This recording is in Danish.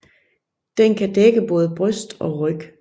Den kan dække både bryst og ryg